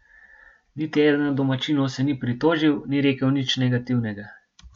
Niti eden od domačinov se ni pritožil, ni rekel nič negativnega.